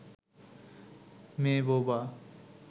মেয়ে বোবা